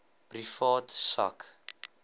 privaat sak